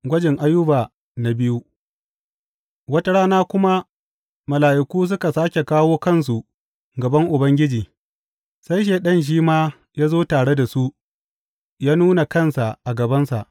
Gwajin Ayuba na biyu Wata rana kuma mala’iku suka sāke kawo kansu gaban Ubangiji, sai Shaiɗan shi ma ya zo tare da su yă nuna kansa a gabansa.